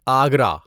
Agra